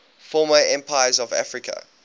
former empires of africa